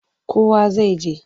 Kowa zai je.